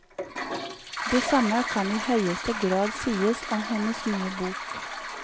Det samme kan i høyeste grad sies om hennes nye bok.